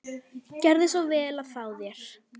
Gjörðu svo vel að fá þér.